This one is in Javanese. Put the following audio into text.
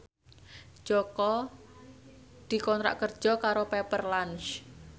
Jaka dikontrak kerja karo Pepper Lunch